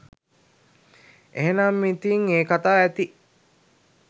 එහෙනම් ඉතින් ඒ කතා ඇති